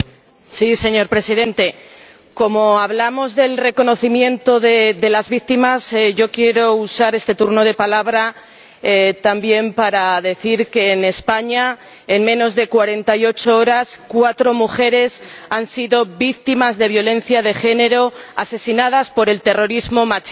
Señor Presidente, como hablamos del reconocimiento de las víctimas, yo quiero usar este turno de palabra también para decir que en España, en menos de cuarenta y ocho horas, cuatro mujeres han sido víctimas de violencia de género, asesinadas por el terrorismo machista.